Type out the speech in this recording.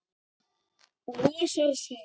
Losar sig.